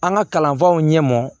An ka kalanfaw ɲɛmɔ